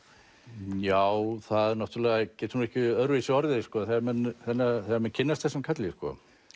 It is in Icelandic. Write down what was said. já það náttúrulega getur ekki öðruvísi orðið sko þegar menn þegar menn kynnast þessum karli sko